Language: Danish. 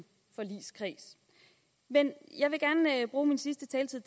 forligskreds men jeg vil gerne bruge min sidste taletid